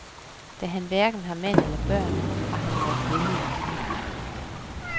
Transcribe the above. Da han hverken har mand eller børn, har han måttet vælge en familie.